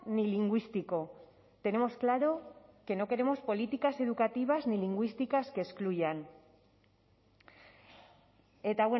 ni lingüístico tenemos claro que no queremos políticas educativas ni lingüísticas que excluyan eta